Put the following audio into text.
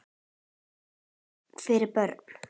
Ekkert fyrir börn.